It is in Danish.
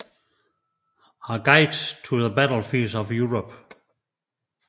A Guide to the Battlefields of Europe